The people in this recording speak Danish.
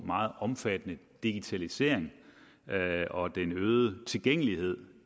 meget omfattende digitalisering og den øgede tilgængelighed